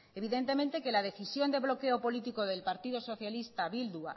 evidentemente que la decisión de bloqueo político del partido socialista bildu